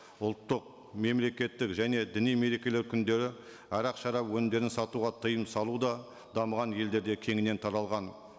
ұлттық мемлекеттік және діни мерекелер күндері арақ шарап өнімдерін сатуға тыйым салу да дамыған елдерде кеңінен таралған